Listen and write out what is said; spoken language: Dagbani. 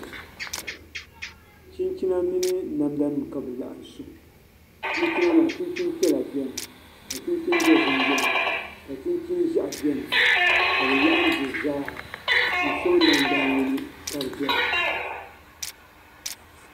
Chinchina mini namda nim ka bi laɣam su kpɛ chinchina maa chinchin piɛla biɛni ka chinchin dozim biɛn ka chinchin ʒiɛɣu biɛni ka bi laɣam di zaaha n soŋ nangbani yino ka di doya